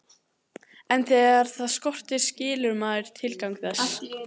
En þegar það skortir skilur maður tilgang þess.